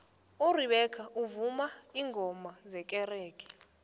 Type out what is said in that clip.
urebecca umvuma ingoma zekerenge